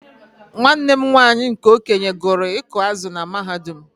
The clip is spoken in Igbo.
Nwanne m nwanyị nke okenye gụrụ ịkụ azụ̀ na mahadum.